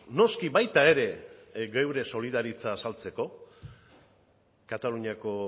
noski baita ere gure solidaritza azaltzeko kataluniako